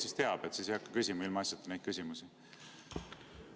Siis ma teinekord tean ega hakka ilmaasjata neid küsimusi esitama.